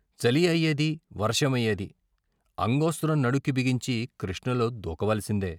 చలి అయ్యేది, వర్షమయ్యేది అంగో స్త్రం నడుంకి బిగించి కృష్ణలో దూకవలసిందే.